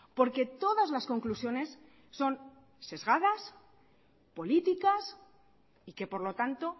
porque todas las conclusiones son sesgadas políticas y que por lo tanto